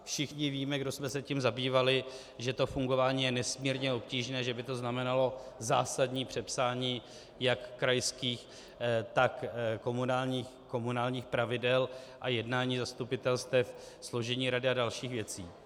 Všichni víme, kdo jsme se tím zabývali, že to fungování je nesmírně obtížné, že by to znamenalo zásadní přepsání jak krajských, tak komunálních pravidel a jednání zastupitelstev, složení rady a dalších věcí.